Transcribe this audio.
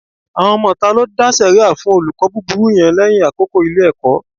Àwọn ọmọ ìta ló dá sẹ̀ríà fún olùkọ́ búburú yẹn lẹ́yìn àkókò Ilé-ẹ̀kọ́